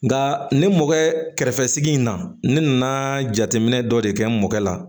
Nka ne mɔkɛ kɛrɛfɛ in na ne nana jateminɛ dɔ de kɛ n mɔkɛ la